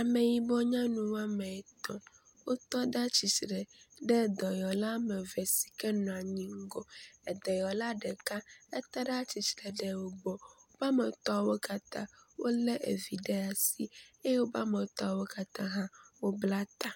Ameyibɔ nyɔnu woame etɔ̃ wo tɔ ɖe atsitre ɖe dɔyɔla ameve sike nɔanyi ŋgɔ, edɔyɔla ɖeka etɔ ɖe atsitsre ɖe wogbɔ. Woƒe wɔametɔa wo katã wole vi ɖe asi eye wobe woametɔa wo katã wo bla ta.